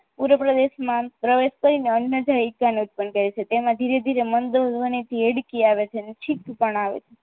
ઉધ્વ પ્રદેશમાં અન્નજાયકાનો ઉત્પન્ન કરે છે તેમાં ધીરે ધીરે મંથ અને હેડકી આવે છે અને છીંક પણ આવે છે